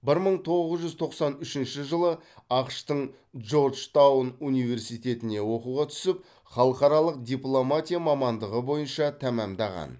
бір мың тоғыз жүз тоқсан үшінші жылы ақш тың джорджтаун университетіне оқуға түсіп халықаралық дипломатия мамандығы бойынша тәмамдаған